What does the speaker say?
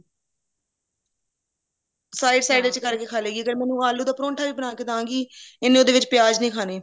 side side ਵਿੱਚ ਕਰਕੇ ਖਾ ਲੇਗੀ ਅਗਰ ਮੈਂ ਇਹਨੂੰ ਆਲੂ ਦਾ ਪਰੋੰਠਾ ਵੀ ਬਣਾਕੇ ਦਾਂਗੀ ਇਹਨੇ ਉਹਦੇ ਵਿੱਚ ਪਿਆਜ ਨਹੀਂ ਖਾਨੇ